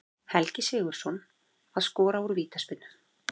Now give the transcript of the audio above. Helgi Sigurðsson að skora úr vítaspyrnu.